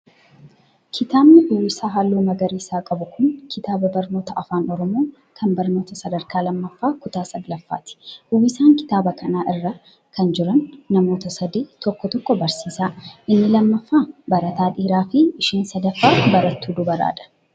Kitaabni uwwisa haalluu magariisa qabu kun, kitaabaa barnootaa Afaan Oromoo kan barnoota sadrkaa lammaffaa kutaa saglaffaati. Uwwisa kitaabaa kana irra kan jiran namoota sadi tokko tokko barsiisaa, inni lammaffaan barataa dhiira fi isheen sadaffaan barattuu dubaraa dha.